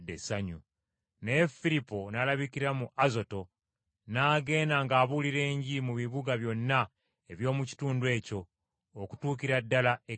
Naye Firipo n’alabikira mu Azoto, n’agenda ng’abuulira Enjiri mu bibuga byonna eby’omu kitundu ekyo okutuukira ddala e Kayisaliya.